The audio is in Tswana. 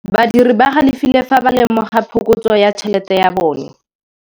Badiri ba galefile fa ba lemoga phokotsô ya tšhelête ya bone.